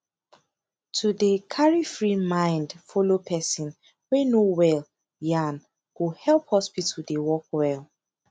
to dey carry free mind follow person wey no well yan go help hospital dey work well